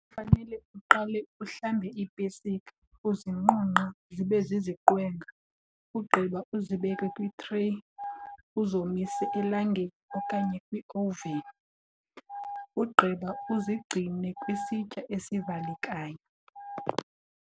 Fanele uqale uhlambe iipesika uzinqunqe zibe ziziqwenga, ugqiba uzibeke kwitreyi uzomise elangeni okanye kwioveni. Ugqiba uzigcine kwisitya esivalekayo.